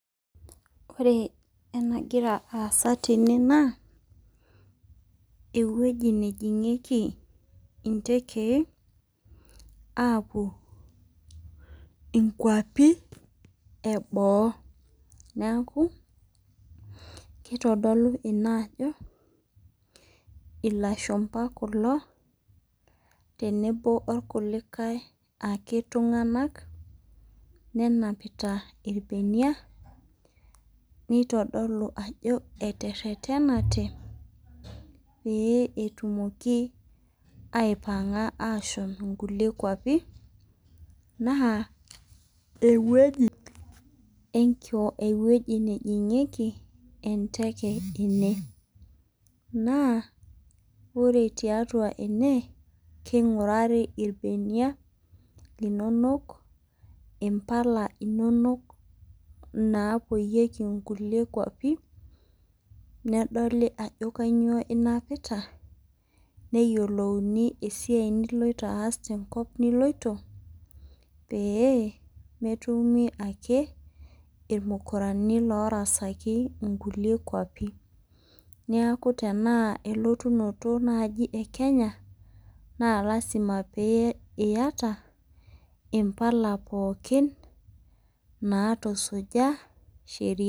Ore enagira aasa tene naa ewueji nejingieki intekei apuo inkapi eboo, niaku kitodolu ina ajo ilashumba kulo tenebo orkulikae ake tunganak nenapita irbenia nitodolu ajo eterenate pee etumoki aipanga ashom nkulie kwapi naa ewueji nejingieki enteke ene naa ore tiatua ene , kingurari irbenia linonok ,impala inonok napoyieki nkulie kwapi nedoli ajo kainyioo inapita neyiolouni esiai niloito aas tenkop niloito pee metumi ake irmukurani lorasaki nkulie kuapi , niaku tenaa elotunoto naji ekenya naa lasima pee iyata impala pookin natusuja sheria.